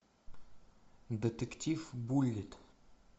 детектив буллит